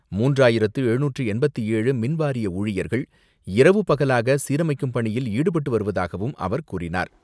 மூன்றாயிரத்து எழுநூற்று எண்பத்து ஏழு மின்வாரிய ஊழியர்கள் இரவு பகலாக சீரமைக்கும் பணியில் ஈடுபட்டு வருவதாகவும் அவர் கூறினார்.